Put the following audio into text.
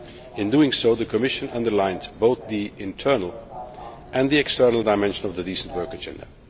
In doing so, the Commission underlines both the internal and the external dimension of the Decent Work Agenda.